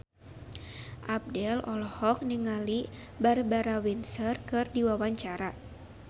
Abdel olohok ningali Barbara Windsor keur diwawancara